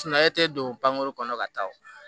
Suman e tɛ don pankuru kɔnɔ ka taa